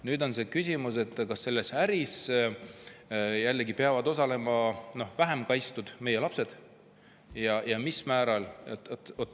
Nüüd on küsimus, kas selles äris peavad osalema need, kes on vähem kaitstud, ehk meie lapsed, ja mil määral.